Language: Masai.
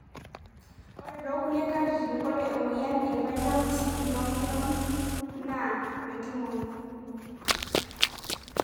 ore tokulie katitin, ore emmoyian e Raynauds phenomenon na metumoyu.